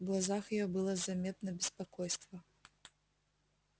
в глазах её было заметно беспокойство